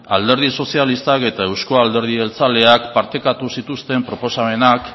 alderdi sozialistak eta euzko alderdi jeltzaleak partekatu zituzten proposamenak